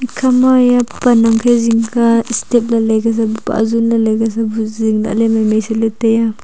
ekhama eya pan angkhe zingka steps lailai ka sabu pahzun lailai ka sabu zing lahley maimai saley taiya.